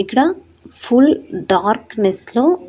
ఇకడా full darkness లో --